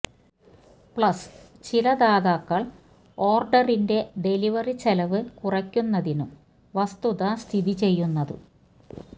plus ചില ദാതാക്കൾ ഓർഡറിന്റെ ഡെലിവറി ചെലവ് കുറയ്ക്കുന്നതിനും വസ്തുത സ്ഥിതിചെയ്യുന്നത്